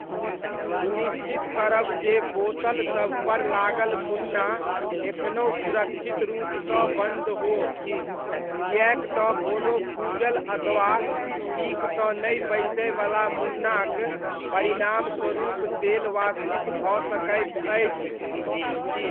सुनिश्चित करब जे बोतलसभपर लागल मुन्ना एखनहुँ सुरक्षित रूपसँ बन्द हो, किएक तँ कोनो फूजल अथवा ठीकसँ नहि बैसयवला मुन्नाक परिणामस्वरूप तेल वाष्पित भऽ सकैत अछि।